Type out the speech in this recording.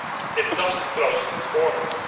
It doesn't close its borders